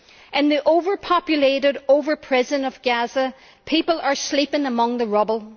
In the overpopulated, open prison of Gaza, people are sleeping among the rubble.